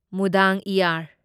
ꯃꯨꯗꯥꯡꯏꯌꯥꯔ